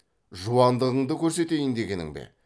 жуандығыңды көрсетейін дегенің бе